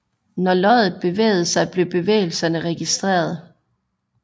Når loddet bevægede sig blev bevægelserne registreret